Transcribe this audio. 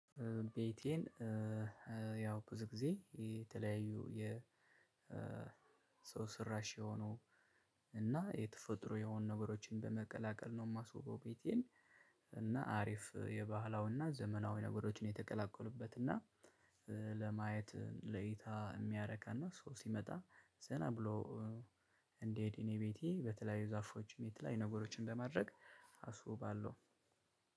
ቤቴን ያው ብዙ ጊዜ የተለያዩ የሰው ስራሽ የሆኑ እና የተፈጥሮ የሆኑ ነገሮችን በመቀላቀል ነው የማስውበው። ቤቴን እና አሪፍ የባህላዊና ዘመናዊ ነገሮችን የተቀላቀሉበት እና ለማየት ለእይታ የሚያረካና ሰው ሲመጣ ዘና ብሎ። እንዲሄድ እኔ ቤቴ በተለያዩ ዛፎችም የተለያዩ ነገሮችን በማድረግ አስውባለው።